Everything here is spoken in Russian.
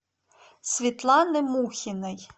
светланы мухиной